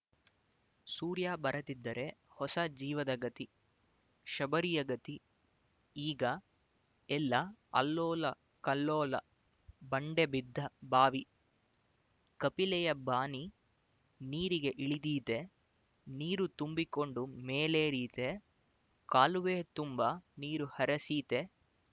ಸೂರ್ಯ ಬರದಿದ್ದರೆ ಹೊಸ ಜೀವದ ಗತಿ ಶಬರಿಯ ಗತಿ ಈಗ ಎಲ್ಲ ಅಲ್ಲೋಲಕಲ್ಲೋಲಬಂಡೆಬಿದ್ದ ಬಾವಿ ಕಪಿಲೆಯ ಬಾನಿ ನೀರಿಗೆ ಇಳಿದೀತೆ ನೀರು ತುಂಬಿಕೊಂಡು ಮೇಲೇರೀತೆ ಕಾಲುವೆ ತುಂಬ ನೀರು ಹರಿಸೀತೆ